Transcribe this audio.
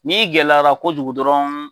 N'i gɛlɛyara kojugu dɔrɔn.